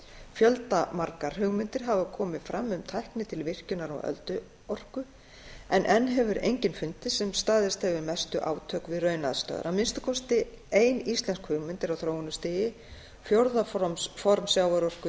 fjöldamargar hugmyndir hafa komið fram um tækni til virkjunar á ölduorku en enn hefur engin fundist sem staðist hefur mestu átök við raunaðstæður að minnsta kosti ein íslensk hugmynd er á þróunarstigi fjórða form sjávarorku